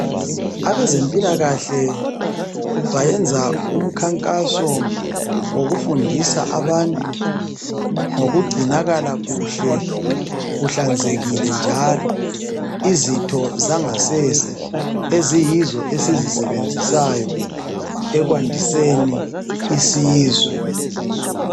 Abezempilakahle bayenza umkhankaso wokufundisa abantu ngokugcinakala kuhle kuhlanzekile njalo izitho zangasese eziyizo esizisebenzisayo ekwandiseni isizwe.